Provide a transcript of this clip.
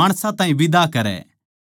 माणसां ताहीं बिदा करै